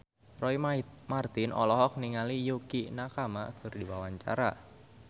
Roy Marten olohok ningali Yukie Nakama keur diwawancara